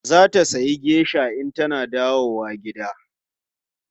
Za ta sayi geisha in tana dawowa gida.